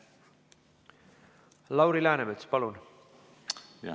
Lauri Läänemets, palun!